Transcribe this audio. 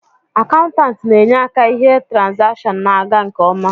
Akaụntanti na enye aka ihe trazation na aga nke ọma